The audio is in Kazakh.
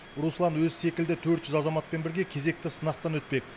руслан өзі секілді төрт жүз азаматпен бірге кезекті сынақтан өтпек